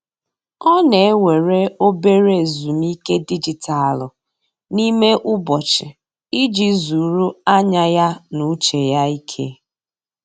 Ọ na-ewere obere ezumike dijitalụ n'ime ụbọchị iji zuru anya ya na uche ya ike.